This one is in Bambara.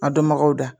A dɔnbagaw da